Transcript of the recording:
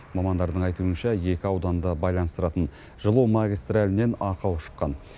мамандардың айтуынша екі ауданды байланыстыратын жылу магистралінен ақау шыққан